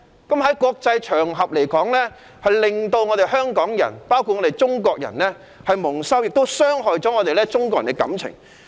在國際場合發生這種事，令香港人以至中國人蒙羞，亦傷害中國人的感情。